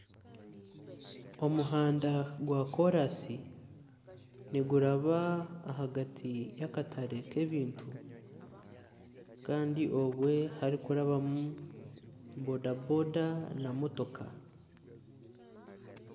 Omuhanda gwakorasi niguraba ahagati y'akatare kebintu Kandi obwe harikurabamu boda boda na motoka.